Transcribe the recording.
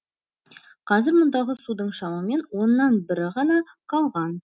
қазір мұндағы судың шамамен оннан бірі ғана қалған